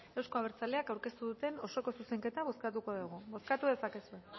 euzko abertzaleak aurkeztu duten osoko zuzenketa bozkatuko dugu bozkatu dezakezue